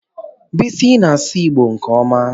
Bisi na-asụ Igbo nke ọma.